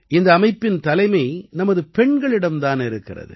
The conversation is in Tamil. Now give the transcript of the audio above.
இந்த அமைப்பின் தலைமை நமது பெண்களிடம் தான் இருக்கிறது